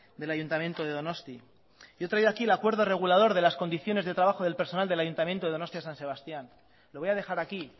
del ayuntamiento de donostia yo he traído aquí el acuerdo regulador de las condiciones de trabajo del personal del ayuntamiento de donostia san sebastián lo voy a dejar aquí